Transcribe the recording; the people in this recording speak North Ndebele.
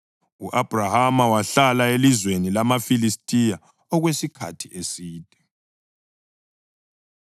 U-Abhrahama wahlala elizweni lamaFilistiya okwesikhathi eside.